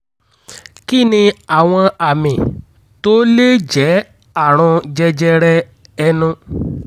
kí ni àwọn àmì tó lè jẹ́ àrùn jẹjẹrẹ ẹnu?